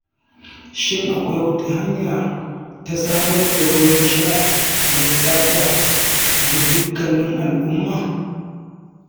Shin akwai wata hanya ta samar da ruwan sha mai tsafta ga dukkanin al'umma?